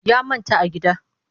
Ya manta a gida